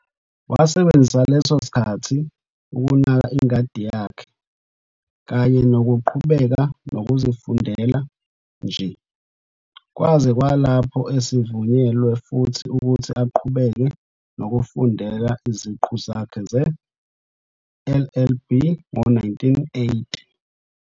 Wasebenzisa leso sikkhathi ukunaka ingadi yakhe, kanye nokuqhubeka nokuzifundela nje, kwaze kwalapho esivunyelwe futhi ukuthi aqhubeke nokufundela iziqu zakhe ze-LLB ngo-1980.